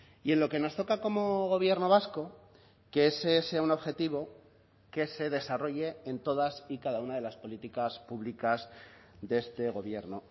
y en lo que nos toca como gobierno vasco que ese sea un objetivo que se desarrolle en todas y cada una de las políticas públicas de este gobierno